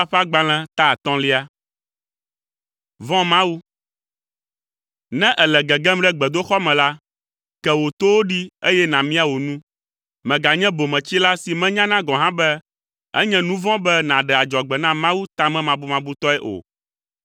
Ne èle gegem ɖe gbedoxɔ me la, ke wò towo ɖi eye nàmia wò nu! Mèganye bometsila si menyana gɔ̃ hã be enye nu vɔ̃ be nàɖe adzɔgbe na Mawu tamemabumabutɔe o,